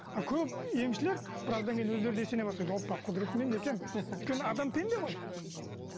а көп емшілер біраздан кейін өздері де сене бастайды опа құдірет менде екен өйткені адам пенде ғой